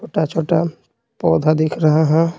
छोटा-छोटा पौधा दिख रहा है।